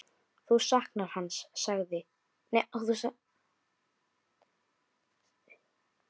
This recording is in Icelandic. Þú saknar hans alltaf, sagði